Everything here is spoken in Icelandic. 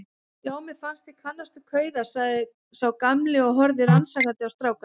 Já, mér fannst ég kannast við kauða sagði sá gamli og horfði rannsakandi á strákana.